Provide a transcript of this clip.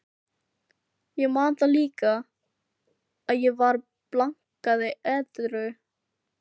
Ég man það líka, að ég var blankandi edrú.